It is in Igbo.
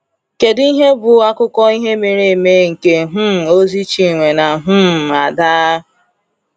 Kedu ihe bụ akụkọ ihe mere eme nke um ozi Chinwe na um Ada?